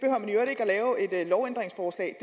lovændringsforslag